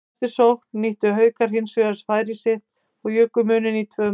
Í næstu sókn nýttu Haukar sér hinsvegar sitt færi og juku muninn í tvö mörk.